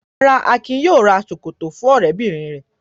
Rárá, Akin yóò ra ṣòkòtò fún ọ̀rẹ́bìnrin rẹ̀.